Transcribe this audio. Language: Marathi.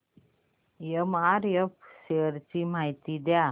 एमआरएफ शेअर्स ची माहिती द्या